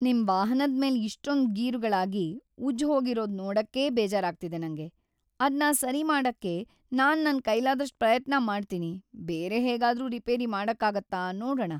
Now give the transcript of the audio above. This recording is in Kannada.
ನಿಮ್ ವಾಹನದ್ಮೇಲೆ ಇಷ್ಟೊಂದ್‌ ಗೀರುಗಳಾಗಿ ಉಜ್ಜ್‌ಹೋಗಿರೋದ್‌ ನೋಡಕ್ಕೇ ಬೇಜಾರಾಗ್ತಿದೆ ನಂಗೆ. ಅದ್ನ ಸರಿ ಮಾಡಕ್ಕೆ ನಾನ್‌ ನನ್‌ ಕೈಲಾದಷ್ಟ್‌ ಪ್ರಯತ್ನ ಮಾಡ್ತೀನಿ. ಬೇರೆ ಹೇಗಾದ್ರೂ ರಿಪೇರಿ ಮಾಡಕ್ಕಾಗತ್ತಾ ನೋಡಣ.